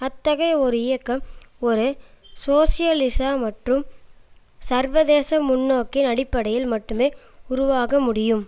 அத்தகைய ஒரு இயக்கம் ஒரு சோசியலிச மற்றும் சர்வதேச முன்னோக்கின் அடிப்படையில் மட்டுமே உருவாக முடியும்